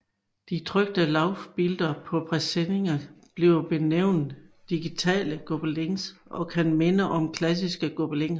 De trykte Laufbilder på presseninger bliver benævnt digitale Gobelins og kan minde om klassiske gobeliner